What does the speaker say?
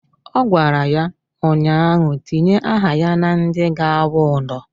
Ọ gwara ya ụnyaahụ "Tinye aha ya na ndị ga-awụ ụdọ"!